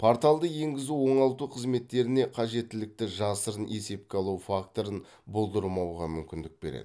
порталды енгізу оңалту қызметтеріне қажеттілікті жасырын есепке алу факторын болдырмауға мүмкіндік береді